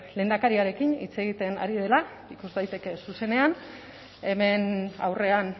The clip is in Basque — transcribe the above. lehendakariarekin hitz egiten ari dela ikus daiteke zuzenean hemen aurrean